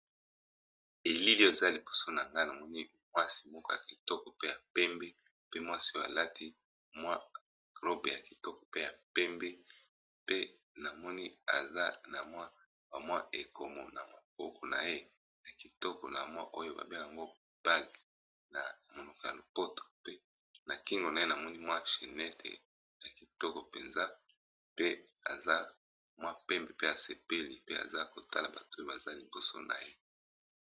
Elili eza liboso nanga namoni mwasi moko ya kitoko pe ya pembe pe mwasi oyo alati mwa robe ya kitoko pe ya pembe, pe namoni aza na mwa ba mwa ekomo na maboko na ye ya kitoko na mwa oyo ba bengaka yango bage na monoko ya lopoto pe, na kingo na ye na moni mwa chenete ya kitoko penza pe aza mwa pembe pe asepeli pe aza kotala bato oyo baza liboso na ye.